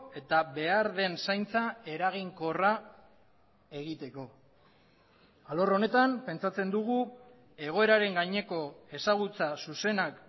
eta behar den zaintza eraginkorra egiteko alor honetan pentsatzen dugu egoeraren gaineko ezagutza zuzenak